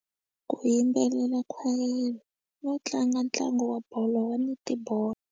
Ku yimbelela khwayere no tlanga ntlangu wa bolo wa netibolo.